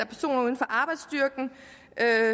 af